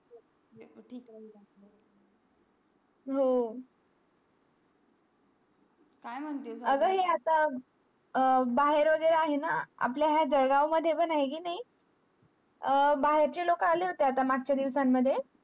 हो काय महानतेचा आगा हे आता अह बाहेर वगैरे आहे ना आपल्या ह्या जळगाव मध्ये पण आहे कि नाही अह बाहेर चे लोक आले होते ना मागच्या दिवसां मध्ये